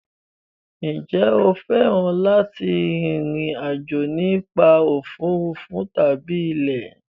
Ǹjẹ́ o fẹ́ràn láti rin ìrìn àjò nípa òfuurufú tàbí ilẹ̀?